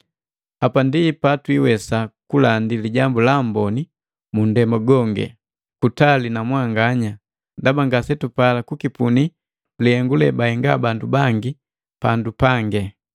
Hapa ndi patwiwesa kulandi Lijambu la Amboni mundema gonge, patali na mwanganya, ndaba ngasetupala kukipuni lihengu lebahenga bandu bangi pandu pange.